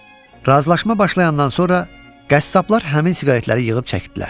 Razılaşma başlayandan sonra qəssablar həmin siqaretləri yığıb çəkdilər.